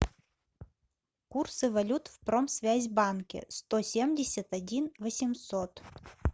курсы валют в промсвязьбанке сто семьдесят один восемьсот